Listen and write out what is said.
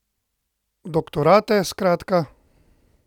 Doktorate, skratka!